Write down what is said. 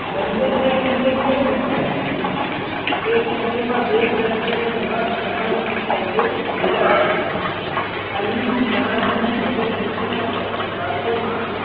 લંગર ના ખિલ્લે કેમ બંધાયેલું છે. એક શબ્દ માં બે પ્રશ્નો નો જવાબ સમાવી શકાય છે વિરાસત. આ યુદ્ધ જહાજ નું હવે પછી ના થોડાક વાક્યો માં